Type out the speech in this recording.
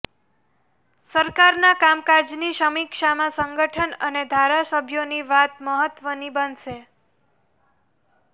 સરકારના કામકાજની સમીક્ષામાં સંગઠન અને ધારાસભ્યોની વાત મહત્વની બનશે